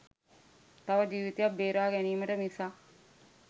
තව ජීවිතයක් බේරා ගැනීමට මිසක්